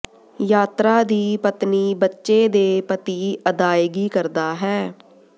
ਯਾਤਰਾ ਦੀ ਪਤਨੀ ਬੱਚੇ ਦੇ ਪਤੀ ਅਦਾਇਗੀ ਕਰਦਾ ਹੈ